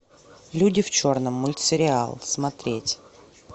люди в черном мультсериал смотреть